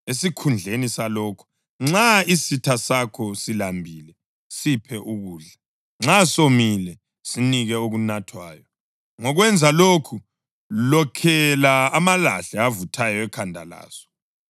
Esikhundleni salokho: “Nxa isitha sakho silambile, siphe ukudla; nxa somile, sinikeni okunathwayo. Ngokwenza lokhu, lokhela amalahle avuthayo ekhanda laso.” + 12.20 Izaga 25.21-22